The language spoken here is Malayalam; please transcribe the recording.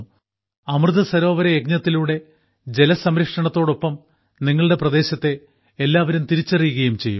അമൃതസരോവര യജ്ഞത്തിലൂടെ ജലസംരക്ഷണത്തോടൊപ്പം നിങ്ങളുടെ പ്രദേശത്തെ എല്ലാവരും തിരിച്ചറിയുകയും ചെയ്യും